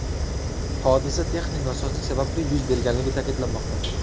Hodisa texnik nosozlik sababli yuz berganligi ta’kidlanmoqda.